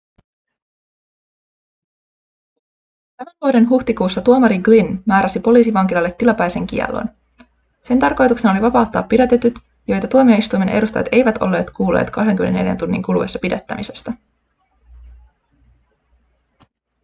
tämän vuoden huhtikuussa tuomari glynn määräsi poliisivankilalle tilapäisen kiellon sen tarkoituksena oli vapauttaa pidätetyt joita tuomioistuimen edustajat eivät olleet kuulleet 24 tunnin kuluessa pidättämisestä